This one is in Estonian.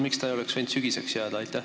Miks see ei oleks võinud sügiseks jääda?